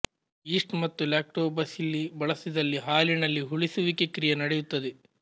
yeast ಮತ್ತು lactobacilli ಬಳಸಿದಲ್ಲಿ ಹಾಲಿನಲ್ಲಿ ಹುಳಿಸುವಿಕೆ ಕ್ರಿಯ ನಡೆಯುತ್ತದೆ